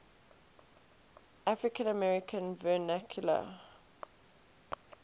african american vernacular